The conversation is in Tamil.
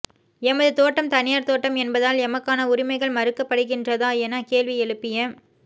எமது தோட்டம் தனியார் தோட்டம் என்பதால் எமக்கான உரிமைகள் மறுக்கப்படுகின்றதா என கேள்வி எழுப்பிய